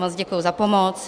Moc děkuji za pomoc.